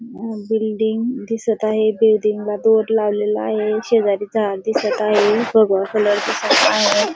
Building दिसत आहे बिल्डिंगला दोर लावलेला आहे शेजारी झाड दिसत आहे भगवा कलर दिसत आहे.